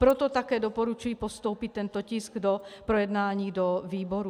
Proto také doporučuji postoupit tento tisk k projednání do výborů.